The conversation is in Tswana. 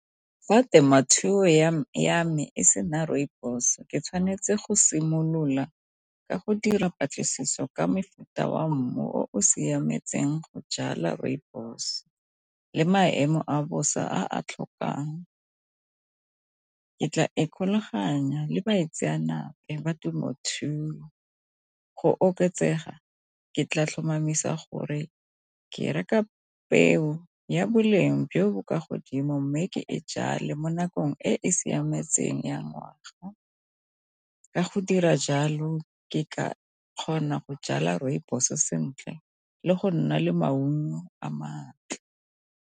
Fa temothuo ya me e sena rooibos ke tshwanetse go simolola ka go dira dipatlisiso ka mofuta wa mmu o siametseng go jala rooibos le maemo a bosa a a tlhokang. Ke tla ikgolaganya le baitsenape ba temothuo go oketsega ke tla tlhomamisa gore ke reka peo ya boleng jo bo kwa godimo mme ke e jale mo nakong e e siametseng ya ngwaga. Ka go dira jalo ke ka kgona go jala rooibos sentle le go nna le maungo a matle.